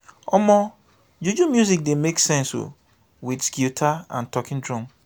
omo juju music dey make sense o wit guitar and talking drum.